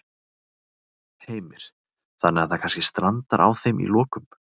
Heimir: Þannig að það kannski strandar á þeim í lokum?